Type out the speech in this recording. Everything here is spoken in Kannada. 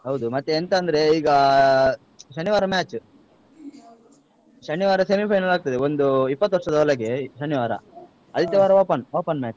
ಹೌದು, ಮತ್ತೆ ಎಂತ ಅಂದ್ರೆ ಈಗ ಅಹ್ ಶನಿವಾರ match , ಶನಿವಾರ semifinal ಆಗ್ತದೆ ಒಂದು ಇಪ್ಪತ್ತು ವರ್ಷದ ಒಳಗೆ ಶನಿವಾರ, ಐತಾರಾ open open match.